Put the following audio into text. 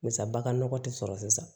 Misali nɔgɔ tɛ sɔrɔ sisan